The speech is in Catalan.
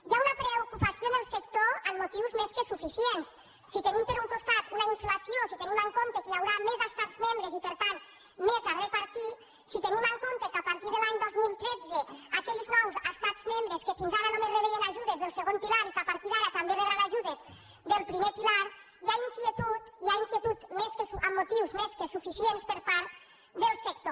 hi ha una preocupació en el sector amb motius més que suficients si tenim per un costat una inflació si tenim en compte que hi haurà més estats membres i per tant més a repartir si tenim en compte que a partir de l’any dos mil tretze aquells nous estats membres que fins ara només rebien ajudes del segon pilar i que a partir d’ara també rebran ajudes del primer pilar hi ha inquietud hi ha inquietud amb motius més suficients per part del sector